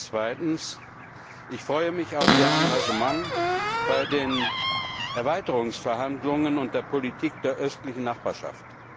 Zweitens freue ich mich auf Ihr Engagement bei den Erweiterungsverhandlungen und der Politik der östlichen Nachbarschaft.